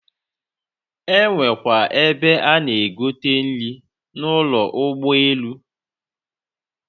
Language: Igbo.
Enwekwa ebe a na-egote nri n'ụlọ ụgbọ elu?